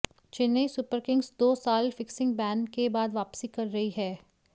Chennai Super Kings दो साल fixing ban के बाद वापसी कर रही है